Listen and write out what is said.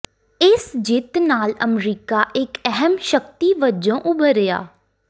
ਇਸ ਜਿੱਤ ਨਾਲ ਅਮਰੀਕਾ ਇੱਕ ਅਹਿਮ ਸ਼ਕਤੀ ਵਜੋਂ ਉਭਰਿਆ